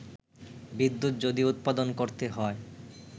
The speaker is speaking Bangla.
বিদ্যুৎ যদি উৎপাদন করতে হয়